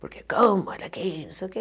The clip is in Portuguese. Porque, como, olha aqui, não sei o quê.